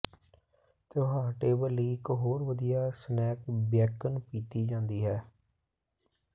ਤਿਉਹਾਰ ਟੇਬਲ ਲਈ ਇਕ ਹੋਰ ਵਧੀਆ ਸਨੈਕ ਬੇਕੋਨ ਪੀਤੀ ਜਾਂਦੀ ਹੈ